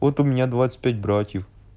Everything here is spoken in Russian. вот у меня двадцать пять братьев